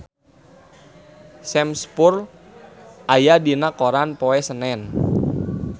Sam Spruell aya dina koran poe Senen